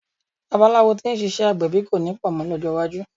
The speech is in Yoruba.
Babaláwo tí ń ṣiṣẹ́ agbẹ̀bí kọ̀ ní pọ̀ mọ́ lọ́jọ́ iwájú.